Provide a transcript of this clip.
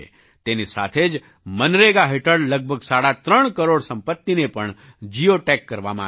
તેની સાથે જ મનરેગા હેઠળ લગભગ સાડા ત્રણ કરોડ સંપત્તિને પણ જિઓ ટેગ કરવામાં આવી છે